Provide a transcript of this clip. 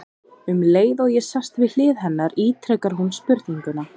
Um leið og ég sest við hlið hennar ítrekar hún spurninguna.